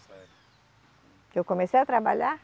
Nessa época. Que eu comecei a trabalhar?